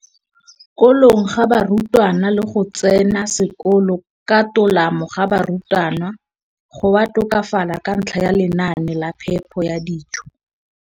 kolong ga barutwana le go tsena sekolo ka tolamo ga barutwana go a tokafala ka ntlha ya lenaane la phepo ya dijo.